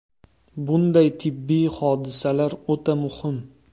Bunday tibbiy hodisalar o‘ta muhim”.